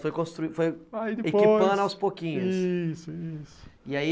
Foi constru foi equipando aos pouquinhos, isso, isso. E aí